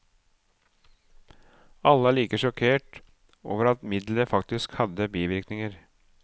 Alle er like sjokkert over at middelet faktisk hadde bivirkninger.